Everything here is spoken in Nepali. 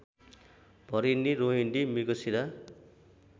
भरिणी रोहिणी मृगशीरा